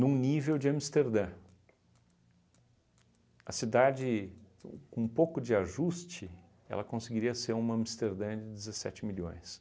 nível de Amsterdã, a cidade, com um pouco de ajuste, ela conseguiria ser uma Amsterdã de dezessete milhões.